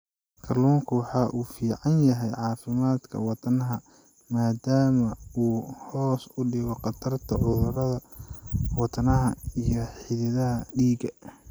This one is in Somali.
Kalluunku waxa uu u fiican yahay caafimaadka wadnaha maadaama uu hoos u dhigo khatarta cudurrada wadnaha iyo xididdada dhiigga.